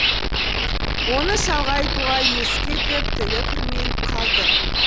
оны шалға айтуға есі кетіп тілі күрмеліп қалды